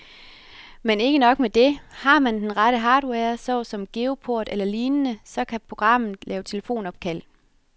Men ikke nok med det, har man den rette hardware, såsom geoport eller lignende, så kan programmet lave telefonopkald.